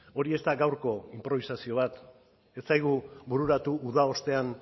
hori ez da gaurko inprobisazio bat ez zaigu bururatu uda ostean